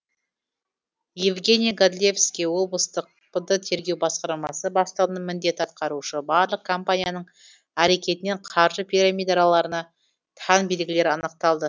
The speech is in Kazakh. евгений годлевский облыстық пд тергеу басқармасы бастығының міндет атқарушы барлық компанияның әрекетінен қаржы пирамидаларына тән белгілер анықталды